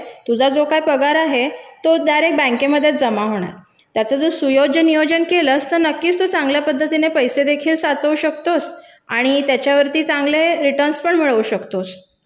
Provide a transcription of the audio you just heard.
तुझा जो काय पगार आहे तो थेट बँकेमध्ये जमा होणार याचं जर सुयोजन नियोजन केलंस तर नक्कीच चांगल्या पद्धतीने पैसे देखील साचू शकतो आणि त्याच्यावर चांगला फायदा देखील मिळू शकतोस